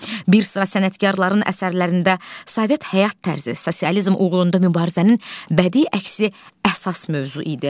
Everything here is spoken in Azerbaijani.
Bir sıra sənətkarların əsərlərində Sovet həyat tərzi, sosializm uğrunda mübarizənin bədii əksi əsas mövzu idi.